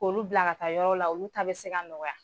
K'olu bila ka taa yɔrɔ la, olu ta bɛ se ka nɔgɔya.